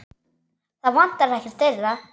Það vantar ekkert þeirra.